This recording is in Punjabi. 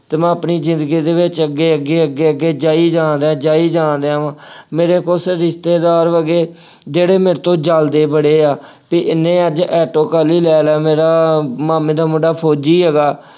ਅਤੇ ਮੈਂ ਆਪਣੀ ਜ਼ਿੰਦਗੀ ਦੇ ਵਿੱਚ ਅੱਗੇ ਅੱਗੇ ਅੱਗੇ ਅੱਗੇ ਅੱਗੇ ਅੱਗੇ ਜਾਈ ਜਾਣ ਡਿਆਂ, ਜਾਈ ਜਾਣ ਡਿਆਂ ਵਾਂ, ਮੇਰੇ ਕੁੱਝ ਰਿਸ਼ਤੇਦਾਰ ਹੋ ਗਏ ਜਿਹੜੇ ਮੇਰੇ ਤੋਂ ਜਲਦੇ ਬੜੇ ਆ, ਬਈ ਇਹਨੇ ਅੱਜ ਆਟੋ ਕਾਹਦੇ ਲਈ ਲੈ ਲਿਆ, ਮੇਰਾ ਮਾਮੇ ਦਾ ਮੁੰਡਾ ਫੌਜੀ ਹੈਗਾ।